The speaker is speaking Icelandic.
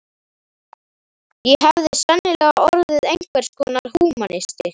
Ég hefði sennilega orðið einhvers konar húmanisti.